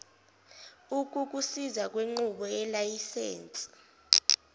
ukukusiza kwinqubo yelayisense